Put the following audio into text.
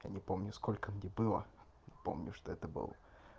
я не помню сколько мне было помню что это был